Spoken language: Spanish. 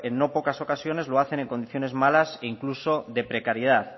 no pocas ocasiones lo hacen en condiciones malas e incluso de precariedad